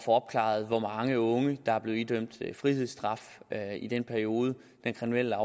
opklaret hvor mange unge der er blevet idømt frihedsstraf i den periode den kriminelle